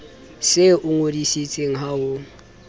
se o ngodisitse ha ho